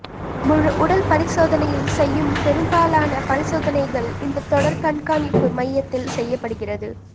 முழு உடல் பரிசோதனையில் செய்யும் பெரும்பலான பரிசோதனைகள் இந்த தொடர் கண்காணிப்பு மையத்தில் செய்யப்படுகிறது